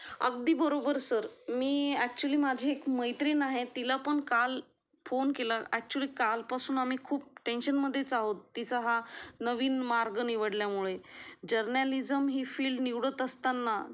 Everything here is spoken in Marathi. अगदी बरोबर सर मी एक्चूअली माझी एक मैत्रीण आहे तिला पण काल फोन केला एक्चूअली काल पासून आम्ही खूप टेन्शन मध्येच आहोत तिचा हा नवीन मार्ग निवडल्या मुळे जर्नालिझम ही फील निवडत असताना